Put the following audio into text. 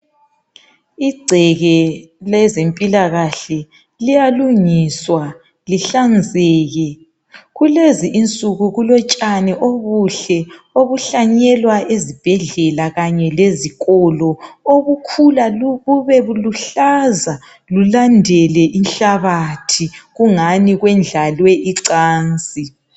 Igceke lezempilakahle liyalungiswa, lihlanzeke. Kulezi insuku kulotshani obuhle, obuhlanyekwa ezibhedlela kanye lezikolo. Obukhula bube buhlaza. Bulandele inhlabathi, Kungani kwendlalwe icansi.